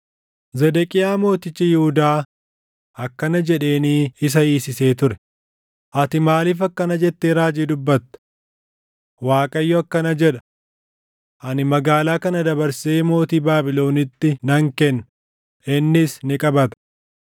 Zedeqiyaa mootichi Yihuudaa akkana jedheenii isa hiisisee ture; “Ati maaliif akkana jettee raajii dubbatta? ‘ Waaqayyo akkana jedha: Ani magaalaa kana dabarsee mootii Baabilonitti nan kenna; innis ni qabata.